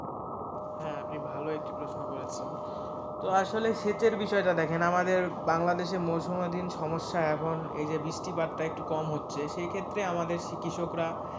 হ্যাঁ, আপনি ভালো একটি প্রশ্ন করেছেন, তো আসলে সেচের বিষয়টা দেখেন আমাদের বাংলাদেশে মৌসমাধীন সমস্যা এখন বৃষ্টিপাতটা একটু কম হচ্ছে, সেই ক্ষেত্রে আমাদের কৃষকরা,